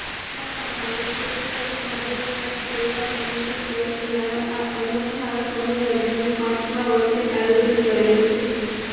ખોખરામાં ભાલેકશ્વર મહાદેવના સેવા સમિતિ ટ્રસ્ટ દ્વારા આ અનોખા સમૂહલગ્નનું પાંચમા વર્ષે આયોજન કરાયું છે